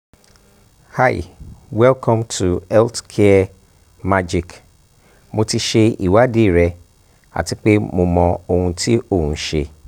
hi welcome to healthcare magic mo ti ṣe ìwádìí rẹ ati pe o mọ ohun ti o n ṣe